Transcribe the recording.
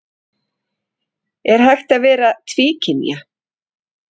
Er hægt að vera tvíkynja?